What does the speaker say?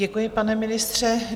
Děkuji, pane ministře.